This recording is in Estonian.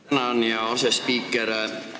Tänan, hea asespiiker!